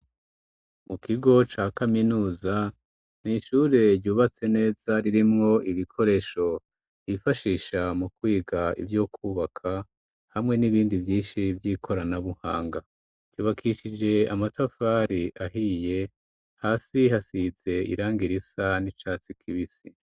Mu kigo ca kaminuza nishure ryubatse neza ririmwo ibikoresho ifashisha mu kwiga ivyo kwubaka hamwe n'ibindi vyinshi vy'ikoranabuhanga ryubakishije amatafari ahiye hasi hasize irangi risa n'icatsi kibisi.